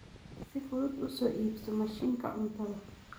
Si fudud u soo iibso mashiinka cuntada.